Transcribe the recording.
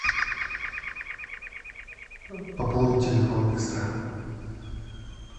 пополнить телефон быстро